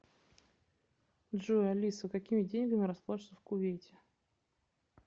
джой алиса какими деньгами расплачиваются в кувейте